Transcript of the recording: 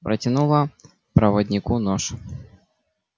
протянула проводнику нож